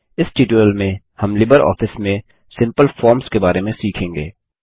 इस ट्यूटोरियल में हम लिबरऑफिस में सिम्पल फॉर्म्स के बारे में सीखेंगे